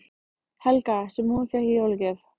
Helga: Sem hún fékk í jólagjöf?